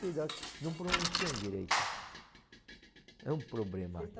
Não pronunciam direito. É um problema. Vocês